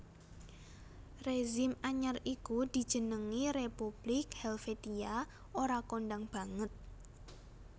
Rezim anyar iku dijenengi Republik Helvetia ora kondhang banget